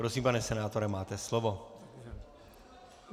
Prosím, pane senátore, máte slovo.